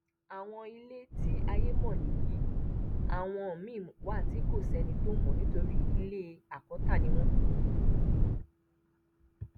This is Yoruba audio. àwọn ilé tí ayé mọ nìyí àwọn míín wa tí kò sẹni tó mọ nítorí ilé àkọta ni wọn